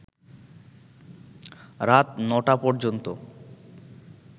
রাত ৯টা পর্যন্ত